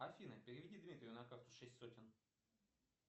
афина переведи дмитрию на карту шесть сотен